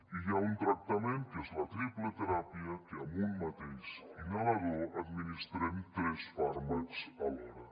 i hi ha un tractament que és la triple teràpia que amb un mateix inhalador administrem tres fàrmacs alhora